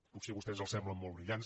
potser a vostès els semblen molt brillants